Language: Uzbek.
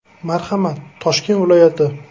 Marhamat, Toshkent viloyati.